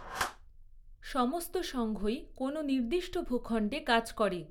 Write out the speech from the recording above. সমস্ত সংঘই কোন নির্দিষ্ট ভূখন্ডে কাজ করে।